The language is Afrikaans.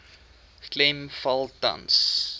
klem val tans